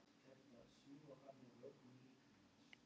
Siggeir, hvað er opið lengi á föstudaginn?